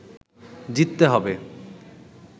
জিততে হবে